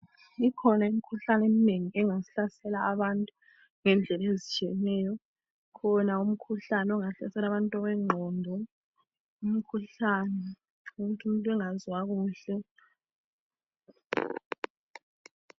Ikhona imikhuhlane eminengi engahlasela abantu ngendlela ezitshiyeneyo. Ukhona umkhuhlane ohlasela ingqondo, umkhuhlane owokuthi umuntu engazwa kuhle.